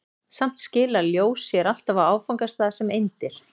Samt skilar ljós sér alltaf á áfangastað sem eindir.